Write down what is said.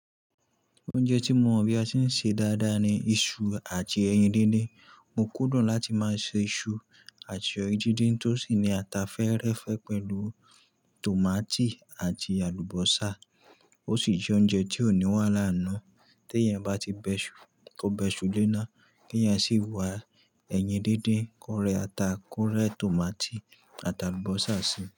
Oúnjẹ tí mo mọ̀ bí a ṣe ń ṣe dáadáa ni iṣu àti ẹyin díndín. Mo kudun láti máa se iṣu àti ẹyin díndín tó sì ní ata fẹ́ẹ́rẹ́fẹ́ pẹ̀lú tòmátì àti àlùbọ́sà. Ó sì jẹ́ oúnjẹ tí ò ní wahal n nu. Tí ẹ́yàn bá ti bẹ iṣu, kó bẹ iṣu léná, kí ẹ́yàn sì wá ẹyin díndín kó rẹ ata, kó rẹ tòmátì àti àlùbọ́sà síi.